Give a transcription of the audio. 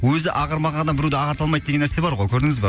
өзі ағармаған адам біреуді ағарта алмайды деген нәрсе бар ғой көрдіңіз ба